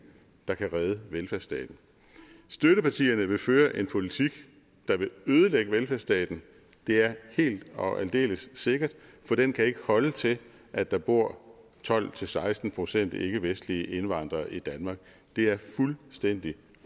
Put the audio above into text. der kan redde velfærdsstaten støttepartierne vil føre en politik der vil ødelægge velfærdsstaten det er helt og aldeles sikkert for den kan ikke holde til at der bor tolv til seksten procent ikkevestlige indvandrere i danmark det er fuldstændig